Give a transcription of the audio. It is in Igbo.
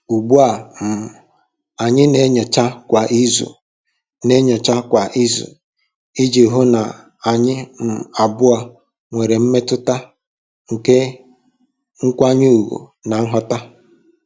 Ugbu a, um anyị na-enyocha kwa izu na-enyocha kwa izu iji hụ na anyị um abụọ nwere mmetụta nke nkwanye ùgwù na nghọta.